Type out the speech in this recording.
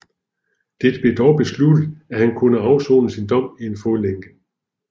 Det blev dog besluttet at han kunne afsone sin dom i en fodlænke